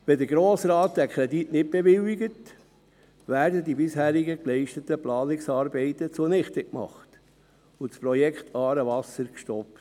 Wenn der Grosse Rat den Kredit nicht bewilligt, werden die bisherigen geleisteten Planungsarbeiten zunichte gemacht und das Projekt ‹Aarewasser› wird gestoppt.